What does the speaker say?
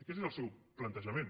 aquest és el seu plantejament